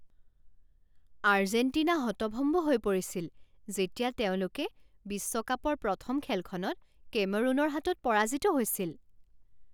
Argentina হতভম্ভ হৈ পৰিছিল যেতিয়া তেওঁলোকে বিশ্বকাপৰ প্ৰথম খেলখনত কেমৰুনৰ হাতত পৰাজিত হৈছিল।